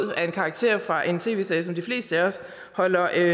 var en karakter fra en tv serie som de fleste af os holder